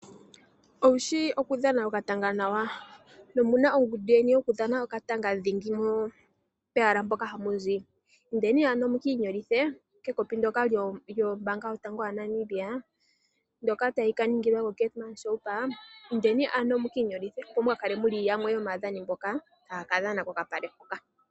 Owushi okudhana okatanga nawa? Omuna ongundu yeni yokudhana okatanga ndhingi pehala mpoka hamuzi? Indeni ano mukiinyolithe kekopi ndoka lyombaanga ya Venduka ndoka talika ningilwa koKaiti. Indeni ano mukiinyolithe opo mukakale yamwe yomaadhani mboka taya kadhana kokapale hoka.